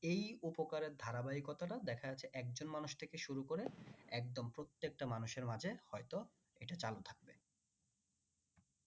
এই উপকারের ধারা বাহিকতা দেখা যাচ্ছে একজন মানুষ থেকে শুরু করে একদম প্রত্যেকটা মানুষের মাঝে হইত এটা চালু থাকবে।